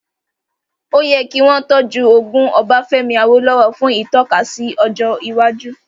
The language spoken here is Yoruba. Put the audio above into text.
Ó yẹ kí wọ́n tọ́jú ogún Ọbafẹ́mi Awólówọ̀ fún ìtọ́kasí ọjọ́ iwájú